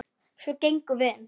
Svo gengum við inn.